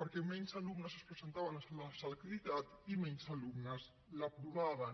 perquè menys alumnes es presentaven a la selectivitat i menys alumnes l’aprovaven